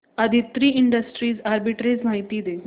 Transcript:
Aditri Industries arbitrage माहिती दे